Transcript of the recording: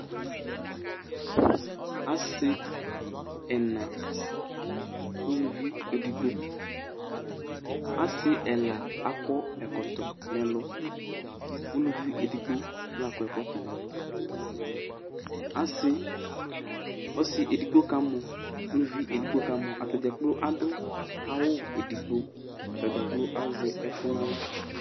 asi ɛna, uluvi edigbo, asi ɛla akɔ ɛkɔtɔ, uluvi edigbo la akɔ ɛkɔtɔ, ɔsi edigbo kamɔ, uluvi edigbo kamɔ, ata dza adʊ awu edigbo, kʊ azɛ ɛkʊ n'aɣla